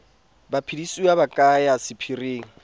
baphedisuwa ba ka ya sephiring